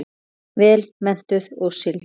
Vel menntuð og sigld.